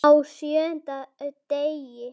Á SJÖUNDA DEGI